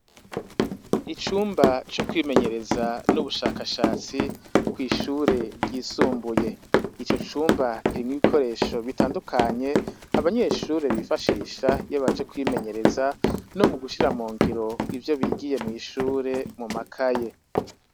Icumba co kwimenyereza n'ubushakashatsi, kw'ishure ryisumbuye. Ico cumba kirimwo ibikoresho bitandukanye, abanyeshure bifashisha iyo baje kwimenyereza, no mu gushira mu ngiro ivyo bigiye mw'ishure mu makaye.